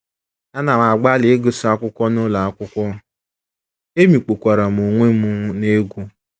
Ana m agbalị ịgụsị akwụkwọ n’ụlọ akwụkwọ, emikpukwara m onwe m n’egwú.